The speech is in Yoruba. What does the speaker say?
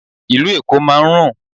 Ìlú Èkó máa ń rùn.